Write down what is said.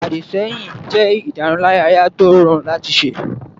Àdìsẹ́yìn jẹ́ ìdárunlárà tí ó rọrùn láti ṣe